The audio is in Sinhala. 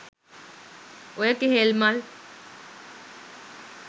ඔය කෙහෙල් මල්